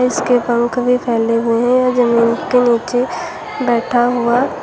इसके पंख भी फैले हुए हैं यह जमीन के नीचे बैठा हुआ--